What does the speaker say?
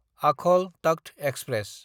आखल तख्त एक्सप्रेस